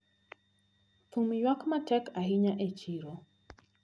Thum ywak matek ahinya e chiro.